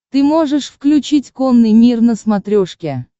ты можешь включить конный мир на смотрешке